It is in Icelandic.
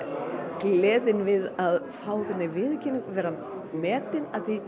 gleðin við að fá viðurkenningu vera metin